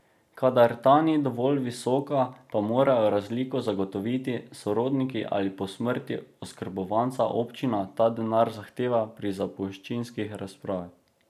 Kadar ta ni dovolj visoka, pa morajo razliko zagotoviti sorodniki ali po smrti oskrbovanca občina ta denar zahteva pri zapuščinski razpravi.